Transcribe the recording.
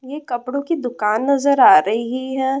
यह कपड़ों की दु-कान नजर आ र-ही है।